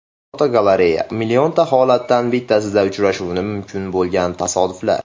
Fotogalereya: Millionta holatdan bittasida uchrashi mumkin bo‘lgan tasodiflar.